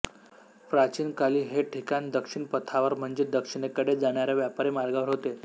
प्राचीन काली हे ठिकाण दक्षिण पथावर म्हणजे दक्षिणेकडे जाणाऱ्या व्यापारी मार्गावर होते